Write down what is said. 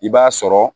I b'a sɔrɔ